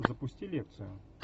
запусти лекцию